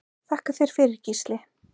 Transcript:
Þakka þér fyrir Gísli.